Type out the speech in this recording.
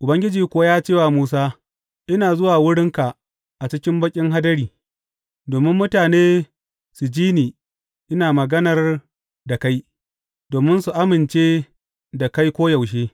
Ubangiji kuwa ya ce wa Musa, Ina zuwa wurinka a cikin baƙin hadari, domin mutane su ji ni ina maganar da kai, domin su amince da kai koyaushe.